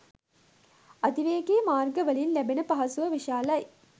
අධිවේගී මාර්ගවලින් ලැබෙන පහසුව විශාලයි.